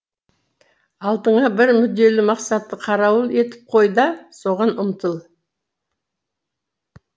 алдыңа бір мүдделі мақсатты қарауыл етіп қой да соған ұмтыл